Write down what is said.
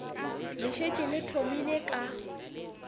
le šetše le thomile ka